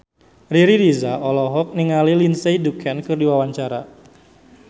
Riri Reza olohok ningali Lindsay Ducan keur diwawancara